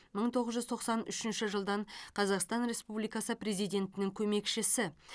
мың тоғыз жүз тоқсан үшінші жылдан қазақстан республикасы президентінің көмекшісі